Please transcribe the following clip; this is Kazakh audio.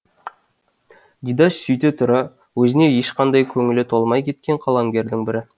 дидаш сөйте тұра өзіне ешқашан көңілі толмай кеткен қаламгердің бірі